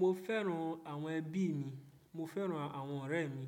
Mo fẹ́ràn àwọn ẹbí mi. Mo fẹ́ràn àwọn ọ̀rẹ́ mi.